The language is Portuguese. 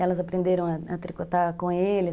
Elas aprenderam a tricotar com ele.